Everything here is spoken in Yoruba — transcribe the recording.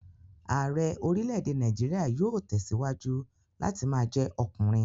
Ààrẹ́ orílè-èdè Nàìjíríà yóò tẹ̀síwájú láti ma jẹ́ ọkùnrin